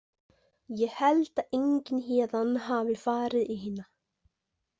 Ég held að enginn héðan hafi farið í hina.